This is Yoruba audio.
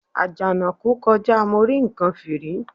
Àjànàkú kọjá mo rí nǹkan fìrí.